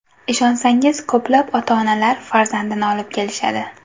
Ishonsangiz, ko‘plab ota-onalar farzandini olib kelishadi.